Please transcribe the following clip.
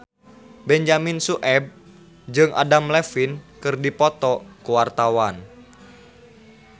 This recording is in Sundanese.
Benyamin Sueb jeung Adam Levine keur dipoto ku wartawan